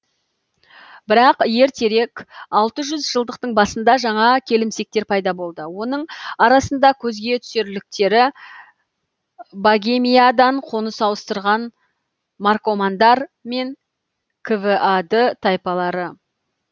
бірақ ертерек алты жүз жылдықтың басында жаңа келімсектер пайда болды оның арасында көзге түсерліктері богемиядан қоныс ауыстырған маркомандар мен квад тайпалары